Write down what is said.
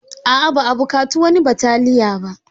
Aa, ba a buƙata wani bataliya.